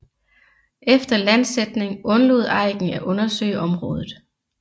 Efter landsætning undlod Aiken at undersøge området